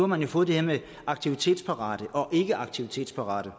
man jo fået det her med aktivitetsparate og ikke aktivitetsparate